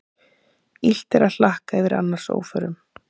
Illt er að hlakka yfir annars óförum.